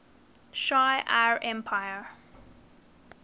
shi ar empire